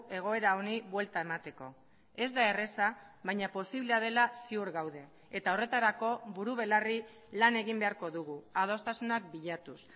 egoera honi buelta emateko ez da erraza baina posiblea dela ziur gaude eta horretarako buru belarri lan egin beharko dugu adostasunak bilatuz